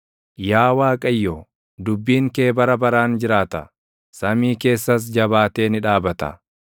Yaa Waaqayyo, dubbiin kee bara baraan jiraata; samii keessas jabaatee ni dhaabata.